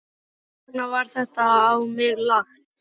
Hvers vegna var þetta á mig lagt?